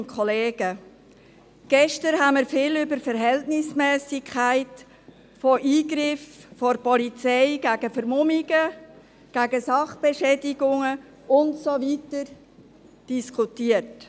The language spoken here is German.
Gestern haben wir viel über die Verhältnismässigkeit von Eingriffen der Polizei gegen Vermummungen, Sachbeschädigungen und so weiter diskutiert.